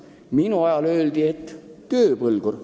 Minu ajal aga öeldi, et ta on tööpõlgur.